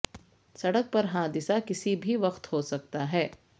سڑک پر حادثہ کسی بھی وقت ہو سکتا ہے